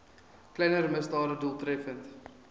kleiner misdade doeltreffend